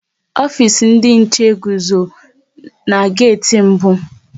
Ofisi ndị nche guzo n'geti mbụ